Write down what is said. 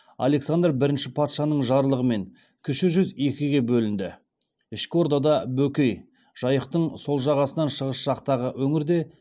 александр бірінші патшаның жарлығымен кіші жүз екіге бөлінді ішкі ордада бөкей жайықтың сол жағасынан шығыс жақтағы өңірде